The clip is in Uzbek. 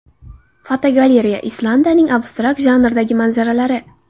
Fotogalereya: Islandiyaning abstrakt janrdagi manzaralari.